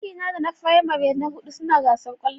Ajina da na firamare na hudu suna gasar kwallon.